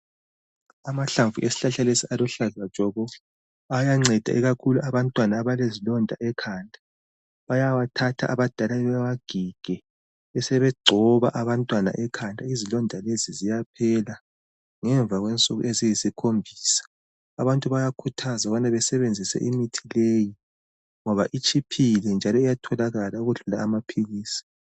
Amahlamvu esihlahla lesi aluhlaza tshoko ayanceda ikakhulu abantwana abalezilonda ekhanda bayawathatha abadala bewagige besebegcoba abantwana ekhanda izilonda lezi ziyaphela ngemva kwensuku eziyisikhombisa abantu bayakhuthazwa ukubana basebenzise imithi leyi ngoba itshiphile njalo iyatholakala ukudlula amaphilisi